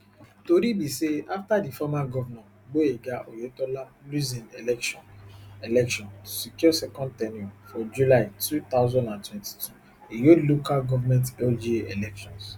tori be say after di former govnor gboyega oyetola lose im election election to secure second ten ure for july two thousand and twenty-two e hold local government lga elections